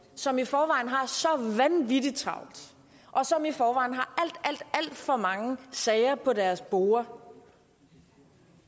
som i forvejen har så vanvittig travlt og som i forvejen har alt alt for mange sager på deres borde